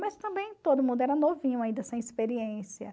Mas também todo mundo era novinho ainda, sem experiência.